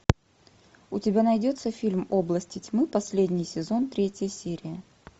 у тебя найдется фильм области тьмы последний сезон третья серия